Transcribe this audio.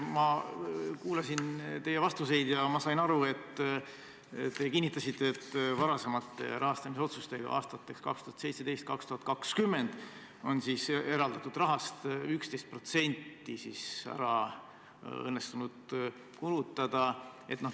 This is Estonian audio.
Ma kuulasin teie vastuseid ja sain aru, et te kinnitasite, et varasemate rahastamisotsustega aastateks 2017–2020 on eraldatud rahast õnnestunud kulutada 11%.